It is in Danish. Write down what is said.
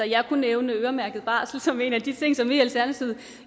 jeg kunne nævne øremærket barsel som en af de ting som vi i alternativet